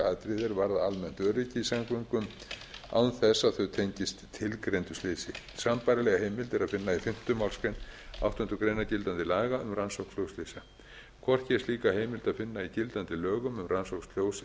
að rannsaka atriði er varða almennt öryggi í samgöngum án þess að þau tengist tilgreindu slysi sambærilega heimild er að finna í fimmta málsgrein áttundu grein gildandi laga um rannsóknflugslysa hvorki er slíka heimild að finna í gildandi lögum um rannsókn sjóslysa